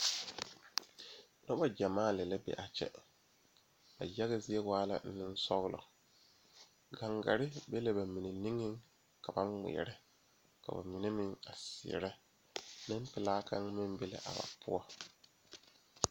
Dɔɔba bayi ane pɔgeba bayi la a laŋ zeŋ a dɔɔ kaŋ naŋ seɛ traza pelaa pegle la gane o nu poɔ ane magdalee a pɔge kaŋa meŋ zeŋ la koo niŋe soga ba saa kyɛ kaa dɔɔ kaŋa ane a pɔge kaŋa gyan yizeŋ.